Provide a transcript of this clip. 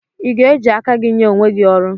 I ga-eji aka gị nye onwe gị ọrụ?